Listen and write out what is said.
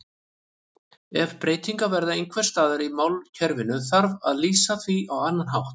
Ef breytingar verða einhvers staðar í málkerfinu þarf að lýsa því á annan hátt.